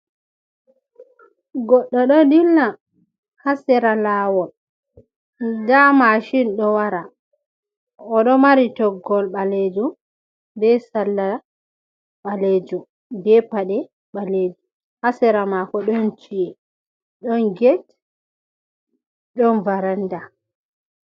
Goɗɗo ɗo dilla haa sera laawol. Nda mashin ɗo wara, o ɗo mari toggol ɓaleejum, be salla ɓaleejum, be paɗe ɓaleejum. Haa sera maako ɗon ci’e, ɗon get, ɗon varanda.